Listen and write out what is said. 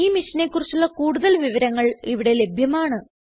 ഈ മിഷനെ കുറിച്ചുള്ള കുടുതൽ വിവരങ്ങൾ ഇവിടെ ലഭ്യമാണ്